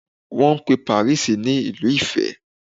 Wọ́n pe Paris ní Ìlú ìfẹ́.